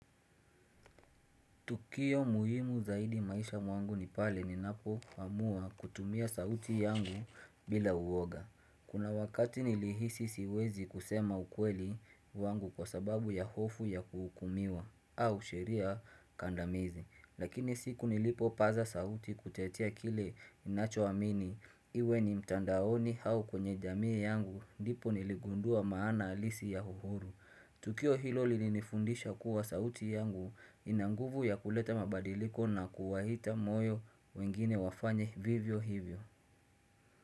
Tukio muhimu zaidi maisha mwangu ni pale ninapo amua kutumia sauti yangu bila uwoga. Kuna wakati nilihisi siwezi kusema ukweli wangu kwa sababu ya hofu ya kuhukumiwa au sheria kandamizi. Lakini siku nilipopaza sauti kutetea kile ninacho amini iwe ni mtandaoni hau kwenye jamii yangu ndipo niligundua maana halisi ya uhuru. Tukio hilo lilinifundisha kuwa sauti yangu ina nguvu ya kuleta mabadiliko na kuwahita moyo wengine wafanye vivyo hivyo.